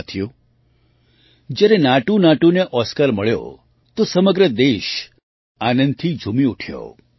સાથીઓ જ્યારે નાટૂનાટૂને ઑસ્કાર મળ્યો તો સમગ્ર દેશ આનંદથી ઝૂમી ઊઠ્યો